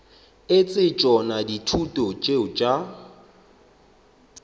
etse tšona dithuto tšeo tša